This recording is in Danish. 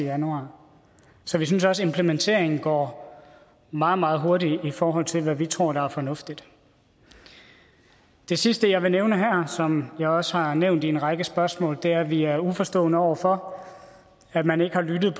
januar så vi synes også at implementeringen går meget meget hurtigt i forhold til hvad vi tror er fornuftigt det sidste jeg vil nævne her og som jeg også har nævnt i en række spørgsmål er at vi er uforstående over for at man ikke har lyttet